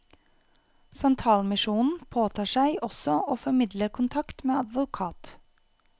Santalmisjonen påtar seg også å formidle kontakt med advokat.